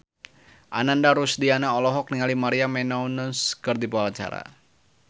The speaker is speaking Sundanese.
Ananda Rusdiana olohok ningali Maria Menounos keur diwawancara